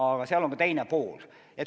Aga seal on ka teine pool.